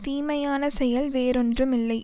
தீமையான செயல் வேறொன்றும் இல்லை